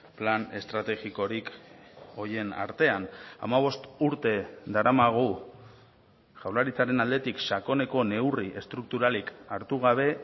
plan estrategikorik horien artean hamabost urte daramagu jaurlaritzaren aldetik sakoneko neurri estrukturalik hartu gabe